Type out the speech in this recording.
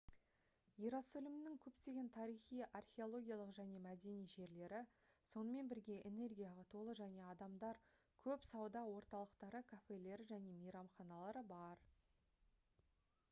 иерусалимның көптеген тарихи археологиялық және мәдени жерлері сонымен бірге энергияға толы және адамдар көп сауда орталықтары кафелері және мейрамханалары бар